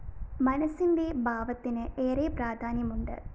മനസ്സിന്റെ ഭാവത്തിന് ഏറെ പ്രാധാന്യമുണ്ട്